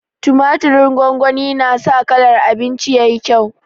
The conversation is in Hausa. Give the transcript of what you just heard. Tumaturin gongoni na sa kalar abinci yayi kyau